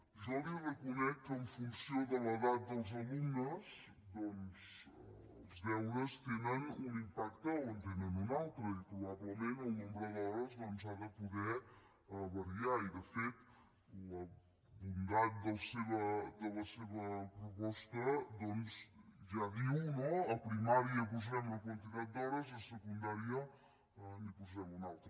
jo li reconec que en funció de l’edat dels alumne doncs els deures tenen un impacte o en tenen un altre i probablement el nombre d’hores doncs ha de poder variar i de fet la bondat de la seva proposta ja diu no a primària hi posem una quantitat d’hores i a secundària n’hi posem una altra